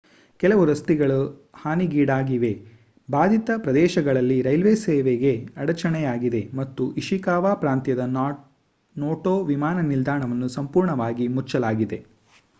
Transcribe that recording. ಕೆಲವು ರಸ್ತೆಗಳು ಹಾನಿಗೀಡಾಗಿವೆ ಭಾಧಿತ ಪ್ರದೇಶಗಳಲ್ಲಿ ರೈಲ್ವೆ ಸೇವೆಗೆ ಅಡಚಣೆಯಾಗಿದೆ ಮತ್ತು ಇಶಿಕಾವಾ ಪ್ರಾಂತ್ಯದ ನೋಟೊ ವಿಮಾನ ನಿಲ್ದಾಣವನ್ನು ಸಂಪೂರ್ಣವಾಗಿ ಮುಚ್ಚಲಾಗಿದೆ